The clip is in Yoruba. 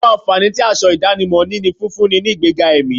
Àwọn ànfàní tí aṣọ ìdánimọ̀ ní ní fífúnni ní ìgbẹ́ga ẹ̀mí